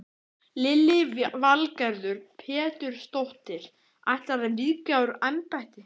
Lillý Valgerður Pétursdóttir: Ætlarðu að víkja úr embætti?